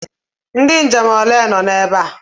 Ndị nje m ole nọ ebe a?